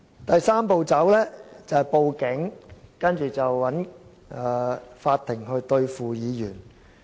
第三步便是向警方報案，接着請法庭對付議員。